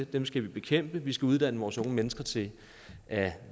dem skal vi bekæmpe vi skal uddanne vores unge mennesker til at